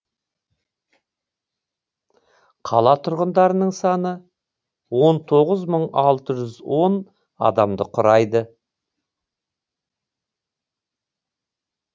қала тұрғындарының саны он тоғыз мың алты жүз он адамды құрайды